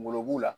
Ngolo b'u la